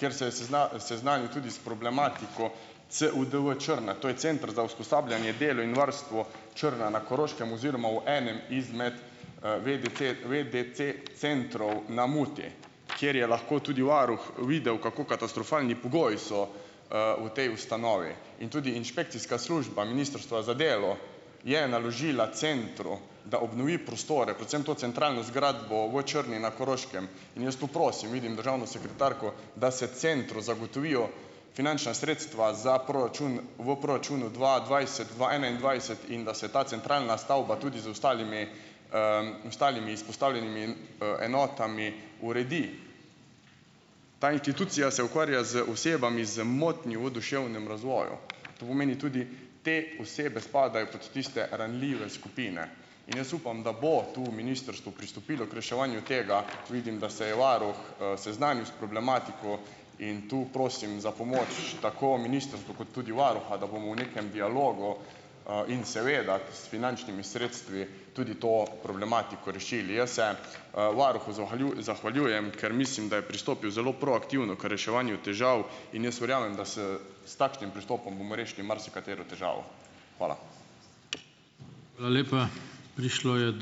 kjer se je seznanil tudi s problematiko CUDV Črna. To je Center za usposabljanje delo in varstvo Črna na Koroškem oziroma v enem izmed, ve, da ve da centrov na Muti, kjer je lahko tudi varuh videl, kako katastrofalni pogoji so, v tej ustanovi. In tudi inšpekcijska služba Ministrstva za delo je naložila centru, da obnovi prostore predvsem to centralno zgradbo v Črni na Koroškem. In jaz tu prosim, vidim državno sekretarko, da se centru zagotovijo finančna sredstva za proračun v proračunu dva dvajset dva enaindvajset in da se ta centralna stavba tudi z ostalimi, ostalimi izpostavljenimi, enotami uredi. Ta institucija se ukvarja z osebami z motnjami v duševnem razvoju. To pomeni tudi te osebe spadajo pod tiste ranljive skupine. In jaz upam, da bo, tu bo ministrstvo pristopilo k reševanju tega, vidim, da se je varuh, seznanil s problematiko in to prosim za pomoč tako ministrstvo kot tudi varuha, da bomo v nekem dialogu, in seveda s finančnimi sredstvi tudi to problematiko rešili. Jaz se, varuhu zahvaljujem, ker mislim, da je pristopil zelo proaktivno k reševanju težav in jaz verjamem, da s s takšnim pristopom bomo rešili marsikatero težavo. Hvala.